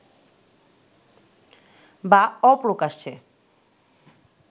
বা অপ্রকাশ্যে